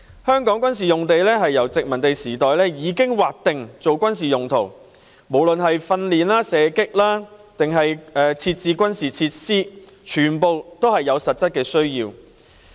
香港的軍事用地由殖民地時代已經劃定作軍事用途，無論是供一般訓練或射擊練習之用，還是設置軍事設施，全屬實質需要。